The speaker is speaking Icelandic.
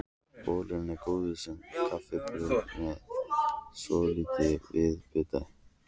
Bollurnar eru góðar sem kaffibrauð með svolitlu viðbiti.